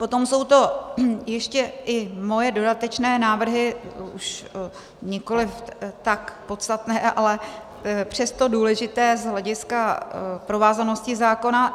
Potom jsou to ještě i moje dodatečné návrhy, už nikoliv tak podstatné, ale přesto důležité z hlediska provázanosti zákona.